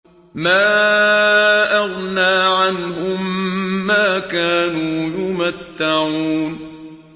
مَا أَغْنَىٰ عَنْهُم مَّا كَانُوا يُمَتَّعُونَ